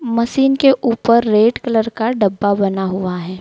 Machine के ऊपर red colour का डब्बा बना हुआ है।